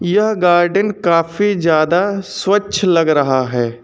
यह गार्डेन काफी ज्यादा स्वच्छ लग रहा है।